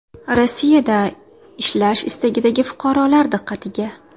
Rossiyada ishlash istagidagi fuqarolar diqqatiga!.